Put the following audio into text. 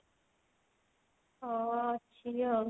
ହଁ ଭାଜିବି ଆଉ